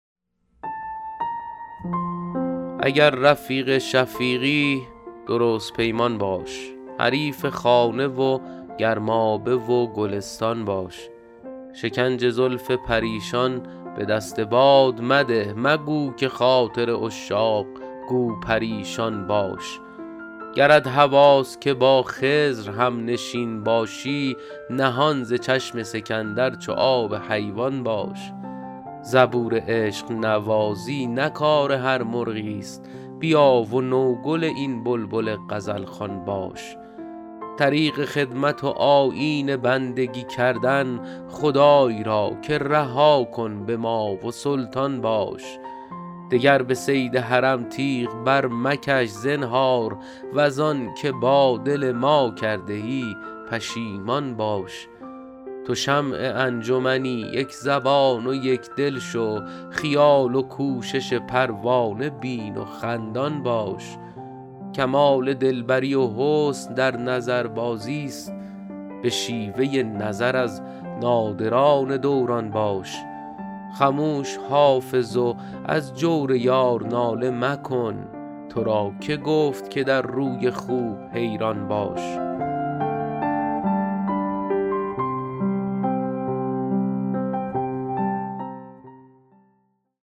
اگر رفیق شفیقی درست پیمان باش حریف خانه و گرمابه و گلستان باش شکنج زلف پریشان به دست باد مده مگو که خاطر عشاق گو پریشان باش گرت هواست که با خضر هم نشین باشی نهان ز چشم سکندر چو آب حیوان باش زبور عشق نوازی نه کار هر مرغی است بیا و نوگل این بلبل غزل خوان باش طریق خدمت و آیین بندگی کردن خدای را که رها کن به ما و سلطان باش دگر به صید حرم تیغ برمکش زنهار وز آن که با دل ما کرده ای پشیمان باش تو شمع انجمنی یک زبان و یک دل شو خیال و کوشش پروانه بین و خندان باش کمال دل بری و حسن در نظربازی است به شیوه نظر از نادران دوران باش خموش حافظ و از جور یار ناله مکن تو را که گفت که در روی خوب حیران باش